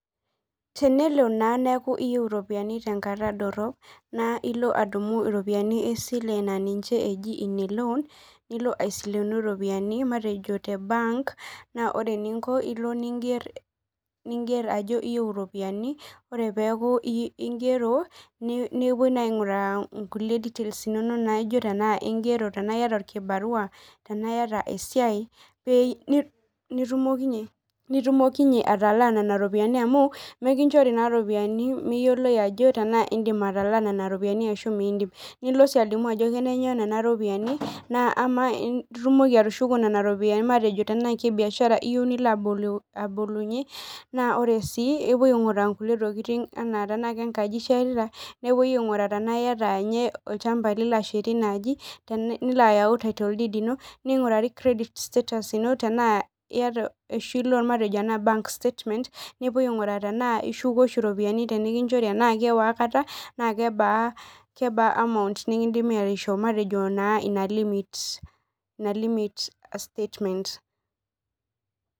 Tenelo naa neeku iyieu iropiyiani tenkata dorop neeku ile adumu iropiyiani naaji ine loan nilo asilenu iropiyiani matejo te bank nilo ningeer ajo iyieu iropiyiani ore peeku ingero nepuoi aing'uraa inkulie details inonok naijio tenaa ingero tenaa iyata irkibarua tenaa iyata esiai pee nitumokinyie atala nena ropiyiani amu mikinchori naa iropiyiani mayioloi ajo tenaa indiim atalaaa nena ropiyiani ashuu miindim nilo sii alimu ajo kenenyoo nena ropiyiani naa amaa itumoki atushoko nena ropiyiani matejo tenaa ke biashara iyieu nilo abolunyie naa ore sii epuoi aing'ura inkulie tokitin enaa tenaa kenkaji ishetita neepuoi aing'uraa tenaaa iyata ninye olchamba lilo ashetie inaaji nilo ayau title ino neing'urari credit status ino tenaa iyata ashuu matejo bank statement tenaa ishuku oshi iropiyiani tenikinchori tenaa iwaikata na kebaa amount nikindiimi aishoo matejo naa ina limit statement